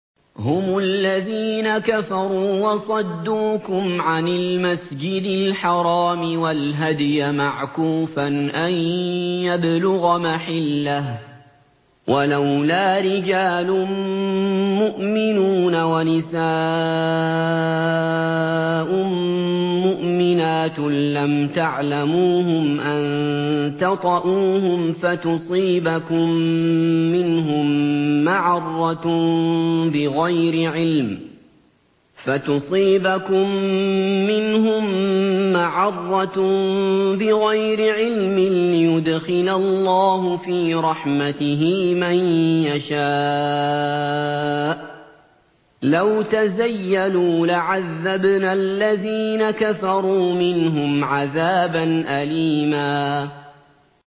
هُمُ الَّذِينَ كَفَرُوا وَصَدُّوكُمْ عَنِ الْمَسْجِدِ الْحَرَامِ وَالْهَدْيَ مَعْكُوفًا أَن يَبْلُغَ مَحِلَّهُ ۚ وَلَوْلَا رِجَالٌ مُّؤْمِنُونَ وَنِسَاءٌ مُّؤْمِنَاتٌ لَّمْ تَعْلَمُوهُمْ أَن تَطَئُوهُمْ فَتُصِيبَكُم مِّنْهُم مَّعَرَّةٌ بِغَيْرِ عِلْمٍ ۖ لِّيُدْخِلَ اللَّهُ فِي رَحْمَتِهِ مَن يَشَاءُ ۚ لَوْ تَزَيَّلُوا لَعَذَّبْنَا الَّذِينَ كَفَرُوا مِنْهُمْ عَذَابًا أَلِيمًا